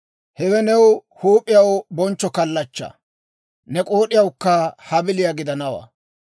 Hewe ne huup'iyaw bonchcho kallachchaa; ne k'ood'iyawukka habiliyaa gidanawaa.